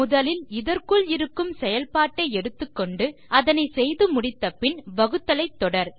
முதலில் இதற்குள் இருக்கும் செயல்பாட்டை எடுத்துக்கொண்டு அதனை செய்து முடித்த பின் வகுத்தலை தொடர்